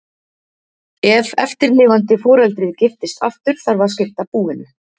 Ef eftirlifandi foreldrið giftist aftur þarf að skipta búinu.